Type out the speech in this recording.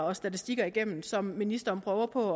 og statistikker igennem som ministeren prøver på